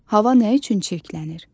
Hava nə üçün çirklənir?